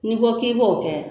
N'i ko k'i b'o kɛ